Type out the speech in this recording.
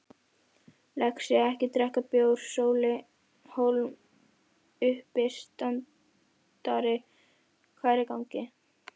Lexía-ekki drekka bjór Sóli Hólm, uppistandari Hvað er í gangi?